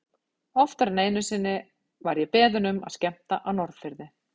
Oftar en einu sinni var ég beðinn um að skemmta á Norðfirði.